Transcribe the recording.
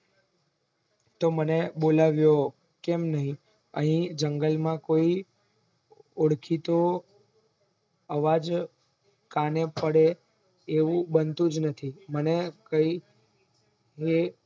તે મને બોલાવ્યો કેમ ની અને જંગલે માં કોઈ ઓળખીતો અવાજ કાને પડે એવું બન્તુજ નથી